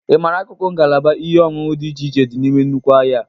Ị mara akụkụ ngalaba ihe oṅụṅụ dị iche iche dị n'ime nnukwu ahịa a?